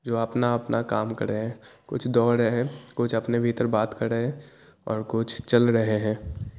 जो अपना-अपना कामकर रहे है कुछ दोड़ रहे है कुछ अपने काम कर रहे है और कुछ चल रहे है।